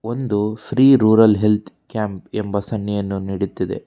ಒಂದು Shri rural health camp ಎಂಬ ಸನ್ನೆಯನ್ನು ನೀಡುತ್ತಿದೆ.